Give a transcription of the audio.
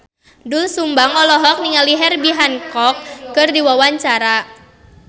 Doel Sumbang olohok ningali Herbie Hancock keur diwawancara